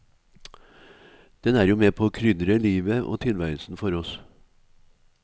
Den er jo med på å krydre livet og tilværelsen for oss.